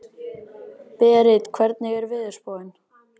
Berit, hvernig er veðurspáin?